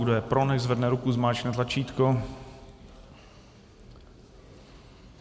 Kdo je pro, nechť zvedne ruku, zmáčkne tlačítko.